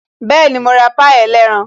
Bẹẹni, mo ra pie ẹlẹ́ran